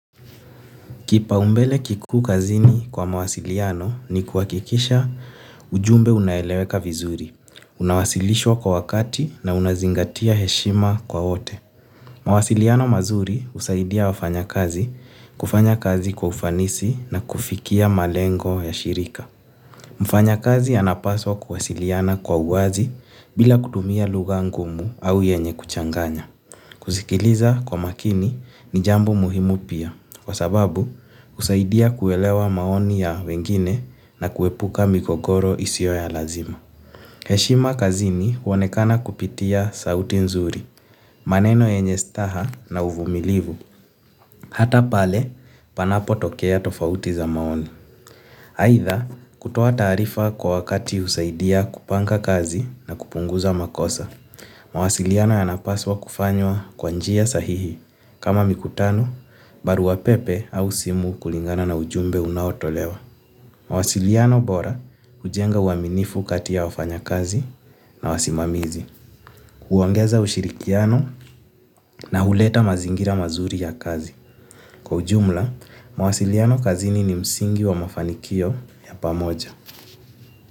Kipaumbele kikuu kazini kwa mawasiliano ni kuhakikisha ujumbe unaeleweka vizuri, unawasilishwa kwa wakati na unazingatia heshima kwa wote. Mawasiliano mazuri husaidia wafanyakazi kufanya kazi kwa ufanisi na kufikia malengo ya shirika. Mfanyakazi anapaswa kuwasiliana kwa uwazi bila kutumia lugha ngumu au yenye kuchanganya. Kusikiliza kwa makini ni jambo muhimu pia kwa sababu husaidia kuelewa maoni ya wengine na kuepuka migogoro isiyo ya lazima. Heshima kazini huonekana kupitia sauti nzuri, maneno yenye staha na uvumilivu, hata pale panapotokea tofauti za maoni. Aidha kutoa taarifa kwa wakati husaidia kupanga kazi na kupunguza makosa. Mawasiliano yanapaswa kufanywa kwa njia sahihi kama mikutano, barua pepe au simu kulingana na ujumbe unaotolewa. Mawasiliano bora hujenga uaminifu kati ya wafanyakazi na wasimamizi. Huongeza ushirikiano na huleta mazingira mazuri ya kazi. Kwa ujumla, mawasiliano kazini ni msingi wa mafanikio ya pamoja.